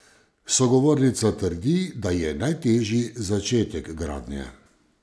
Sogovornica trdi, da je najtežji začetek gradnje.